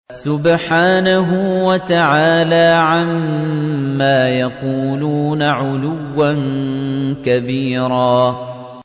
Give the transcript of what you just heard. سُبْحَانَهُ وَتَعَالَىٰ عَمَّا يَقُولُونَ عُلُوًّا كَبِيرًا